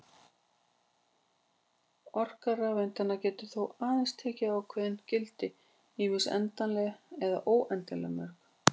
Orka rafeindanna getur þá aðeins tekið ákveðin gildi, ýmist endanlega eða óendanlega mörg.